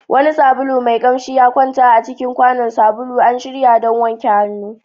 Wani sabulu mai kamshi ya kwanta a cikin kwanon sabulu, an shirya don wanke hannu.